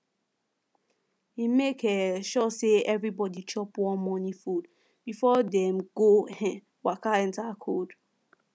e make um sure say everybody chop warm morning food before dem go um waka enter cold